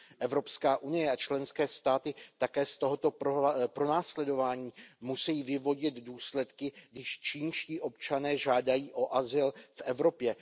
Evropská unie a členské státy také z tohoto pronásledování musí vyvodit důsledky, když čínští občané žádají o azyl v Evropě.